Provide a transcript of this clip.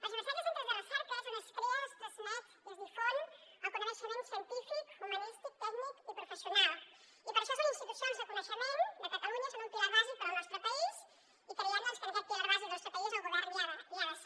les universitats i els centres de recerca és on es crea es transmet i es difon el coneixement científic humanístic tècnic i professional i per això són institucions de coneixement de catalunya són un pilar bàsic per al nostre país i creiem que en aquest pilar bàsic del nostre país el govern hi ha de ser